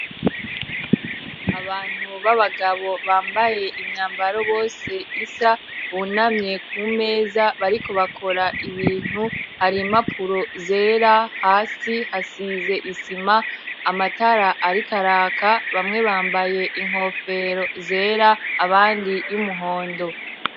abantu b'abagabo bambaye imyambaro bose isa bunamye ku meza bariko bakora ibintu ari impapuro zera hasi hasize isima amatara ariko araka bamwe bambaye inkofero zera abandi y'umuhondo